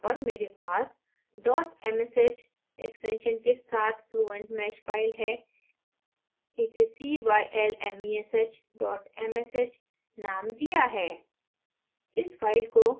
मेरे desktop पर मेरे पास dot msh extension के साथ fluent mesh file है इसे cylmesh msh named दिया है